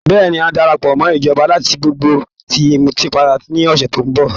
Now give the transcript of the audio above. Bẹ́ẹ̀ni, ń ó darapọ̀ mọ́ ìjọba láti gbógun ti ìmùtípara ní ọ̀sẹ̀ tó ń bọ̀